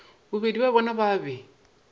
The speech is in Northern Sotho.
bobedi bja bona ba be